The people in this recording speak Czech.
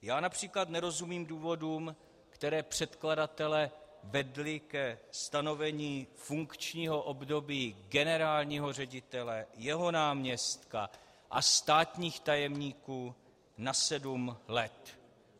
Já například nerozumím důvodům, které předkladatele vedly ke stanovení funkčního období generálního ředitele, jeho náměstka a státních tajemníků na sedm let.